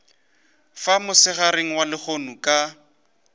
fa mosegareng wa lehono ka